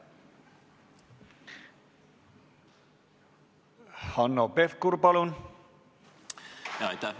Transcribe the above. Hanno Pevkur, palun!